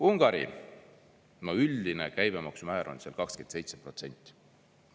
Ungari – üldine käibemaksumäär on seal 27%.